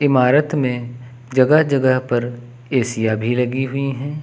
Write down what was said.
इमारत में जगह जगह पर एसियां भी लगी हुई हैं।